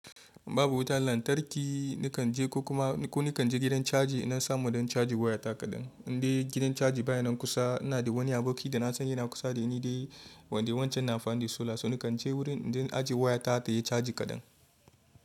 Babu wutan lantarki nikan je, ko kuma ko nikan je gidan caji ina samu don caji wayata kaɗan. Inde gidan caji baya nan kusa ina da wani aboki da na san yana kusa da ni dai wanda wancan na amfani da sola. So nikan je wurin in je in ajiye wayata tayi caji kaɗan.